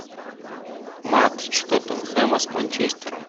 матч тоттенхэма с манчестером